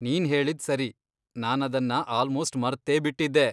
ನೀನ್ಹೇಳಿದ್ ಸರಿ, ನಾನದನ್ನ ಆಲ್ಮೋಸ್ಟ್ ಮರ್ತೇಬಿಟ್ಟಿದ್ದೆ.